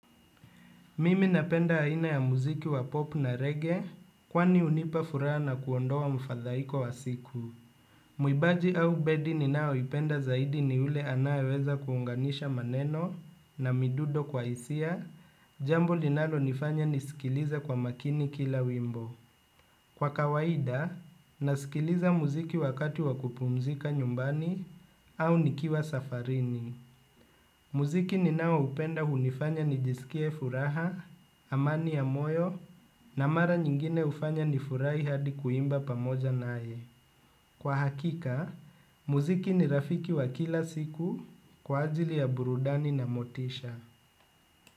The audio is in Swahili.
Mimi napenda aina ya muziki wa pop na reggae kwani hunipa furaha na kuondoa mfadhaiko wa siku. Mwimbaji au bedi ninayo ipenda zaidi ni yule anayeweza kuunganisha maneno na midundo kwa hisia, jambo linalonifanya nisikilize kwa makini kila wimbo. Kwa kawaida, nasikiliza muziki wakati wa kupumzika nyumbani au nikiwa safarini. Muziki ninaoupenda hunifanya nijisikie furaha, amani ya moyo na mara nyingine hufanya nifurahi hadi kuimba pamoja naye. Kwa hakika, muziki ni rafiki wa kila siku kwa ajili ya burudani na motisha.